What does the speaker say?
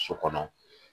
So kɔnɔ